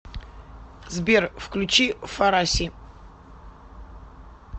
сбер включи фараси